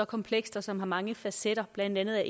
komplekst og som har mange facetter blandt andet er